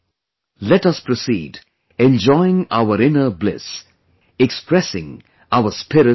Let us proceed, enjoying our inner bliss, expressing our spirit of service